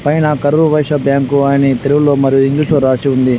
పైన కరూర్ వైశ్య బ్యాంకు అని తెలుగులో మరియు ఇంగ్లీషులో రాసి ఉంది.